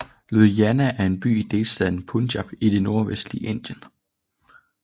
Ludhiana er en by i delstaten Punjab i det nordlvestlige Indien